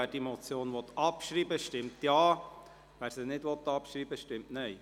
Wer diese Motion abschreibt, stimmt Ja, wer dies ablehnt, stimmt Nein.